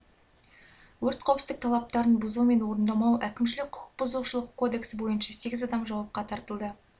өрт қауіпсіздік талаптарын бұзу мен орындамау әкімшілік құқық бұзушылық кодексі бойынша сегіз адам жауапқа тартылды